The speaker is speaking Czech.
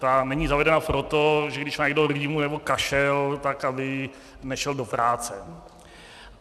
Ta není zavedena proto, že když má někdo rýmu nebo kašel, tak aby nešel do práce.